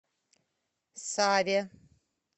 саве